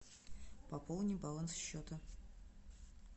пополни баланс счета